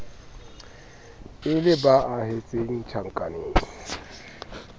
e le ba ahetseng tjhankaneng